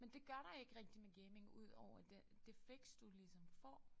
Men det gør der ikke rigtig med gaming udover den det fix du ligesom får